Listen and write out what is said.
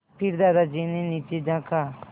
फिर दादाजी ने नीचे झाँका